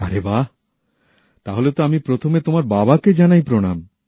আরে বাহ তাহলে তো আমি প্রথমে তোমার বাবাকে জানাই প্রণাম